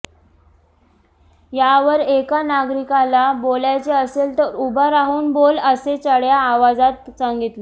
यावर एका नागरिकाला बोलायचे असेल तर उभा राहून बोल असे चढ्या आवाजात सांगितले